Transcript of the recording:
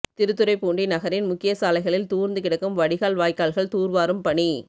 திருத்துறைப்பூண்டி நகரின் முக்கிய சாலைகளில் தூர்ந்து கிடக்கும் வடிகால் வாய்க்கால்கள் தூர்வாரும் பணி